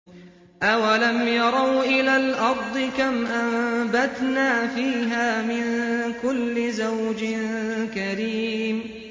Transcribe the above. أَوَلَمْ يَرَوْا إِلَى الْأَرْضِ كَمْ أَنبَتْنَا فِيهَا مِن كُلِّ زَوْجٍ كَرِيمٍ